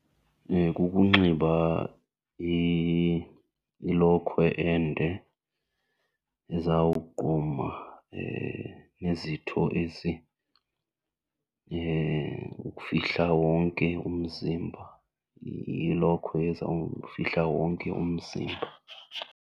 Kukunxiba ilokhwe ende ezawugquma izitho ezi, ukufihla wonke umzimba, ilokhwe ezawufihla wonke umzimba.